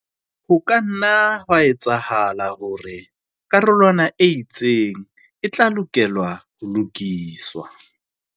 Ho ka nna ha etsahala hore karolwana e itseng e tla lokela ho lokiswa.